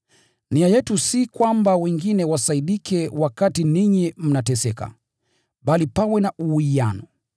Nia yetu si kwamba wengine wasaidike wakati ninyi mnateseka, bali pawe na uwiano.